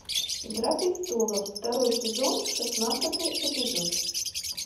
игра престолов второй сезон шестнадцатый эпизод